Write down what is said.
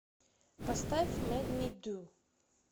поставь мэйд ми ду